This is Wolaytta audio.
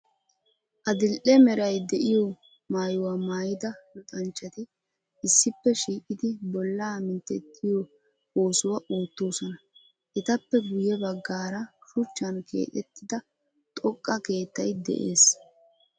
Adil"e meray de'iyo maayuwa maayida luxanchchati issippe shiiqidi bollaa minttettiyo oosuwa oottoosona. Etappe guyye baggaara shuchchan keexettida xoqqa keettayi de'ees.